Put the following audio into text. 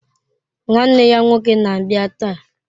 Nwanne ya nwoke na-abịa taa.